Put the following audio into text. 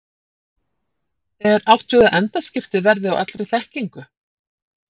Er átt við að endaskipti verði á allri þekkingu?